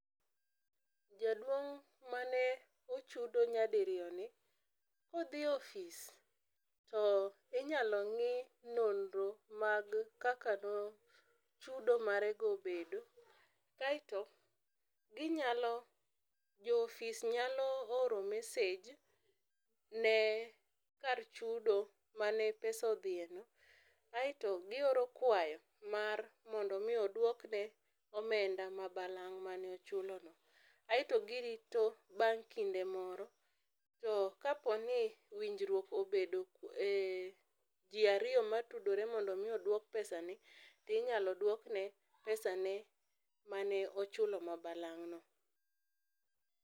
Jaduong mane ochudo nya di riyo ni ,ka odhi e office to inyalo ng'i nonro mag kaka ne chudo mage go obedo kaito gi nyalo jo ofis nyalo oro message ne kar chudo mane pesa odhi e no ,aito gi oro kwayo mar mondo mi odwok ne omenda ma balang' ma ne ochulo no.Aito gi rito bang' kinde moro to ka po ni winjruok obedo e ji ariyo ma tudore mar mondo mi odwok pesa ni inyalo dwok ne pesa ne mane ochulo ma balang' no.